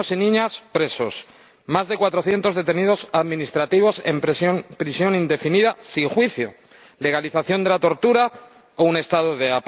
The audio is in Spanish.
niños y niñas presos, más de 400 detenidos administrativos en prisión indefinida sin juicio, legalización de la tortura o un Estado de